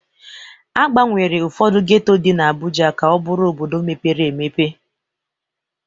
Agbanwere ụfọdụ geto dị n'Abuja ka ọ bụrụ obodo mepere emepe.